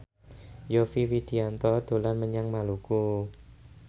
Yovie Widianto dolan menyang Maluku